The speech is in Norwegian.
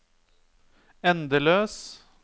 endeløs